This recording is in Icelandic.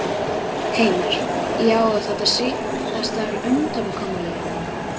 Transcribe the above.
Heimir: Já, og þetta er síðasta undankomuleiðin?